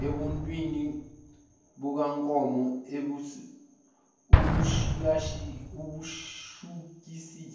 ebuntwini bukankomo ebushukisisa